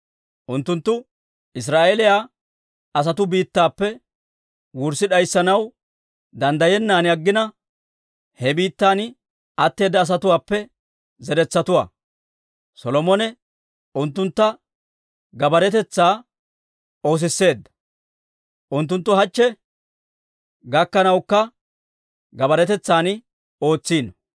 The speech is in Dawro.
unttunttu Israa'eeliyaa asatuu biittappe wurssi d'ayssanaw danddayennan aggina, he biittan atteeda asatuwaappe zeretsatuwaa. Solomone unttuntta gabbaaretetsaa oosisseedda; unttunttu hachche gakkanawukka gabbaaretetsan ootsino.